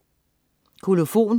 Kolofon